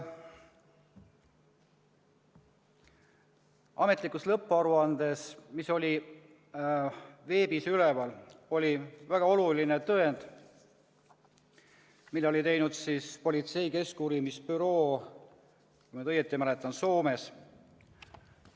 Ametlikus lõpparuandes, mis oli veebis üleval, oli väga oluline tõend, mille oli esitanud politsei keskuurimisbüroo, kui ma nüüd õigesti mäletan, Soomes.